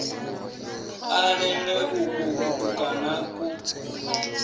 a lele uku kutukana ku